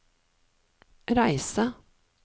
reise